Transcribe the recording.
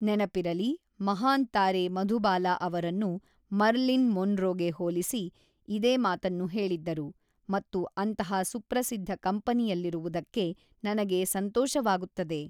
ನೆನಪಿರಲಿ, ಮಹಾನ್ ತಾರೆ ಮಧುಬಾಲಾ ಅವರನ್ನು ಮರ್ಲಿನ್ ಮೊನ್ರೋಗೆ ಹೋಲಿಸಿ ಇದೇ ಮಾತನ್ನು ಹೇಳಿದ್ದರು ಮತ್ತು ಅಂತಹ ಸುಪ್ರಸಿದ್ಧ ಕಂಪನಿಯಲ್ಲಿರುವುದಕ್ಕೆ ನನಗೆ ಸಂತೋಷವಾಗುತ್ತದೆ!